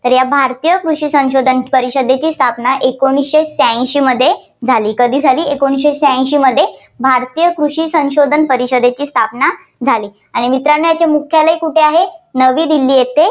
तर या भारतीय कृषी संशोधन परिषदेची स्थापना एकोणीसशे शह्याऐंशीमध्ये झाली. कधी झाली? एकोणीसशे शह्याऐंशीमध्ये भारतीय कृषी संशोधन परिषदेची स्थापना झाली. आणि मित्रांनो याचे मुख्यालय कुठे आहे नवी दिल्ली येथे.